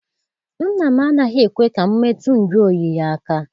Nna m anaghị ekwe ka m metụ njụ oyi ya aka.